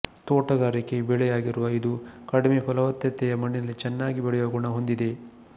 ತೋಟಗಾರಿಕೆ ಬೆಳೆಯಾಗಿರುವ ಇದು ಕಡಿಮೆ ಫಲವತ್ತತೆಯ ಮಣ್ಣಿನಲ್ಲಿ ಚೆನ್ನಾಗಿ ಬೆಳೆಯುವ ಗುಣ ಹೊಂದಿದೆ